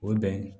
O ye bɛn ye